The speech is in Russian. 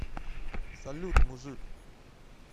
салют мужик